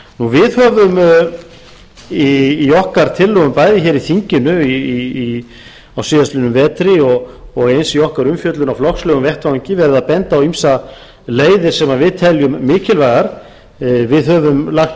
við höfum í okkar tillögum bæði hér á þinginu á síðastliðnum vetri og eins í okkar umfjöllun á flokkslegum vettvangi verið að benda á ýmsar leiðir sem við teljum mikilvægar við höfum lagt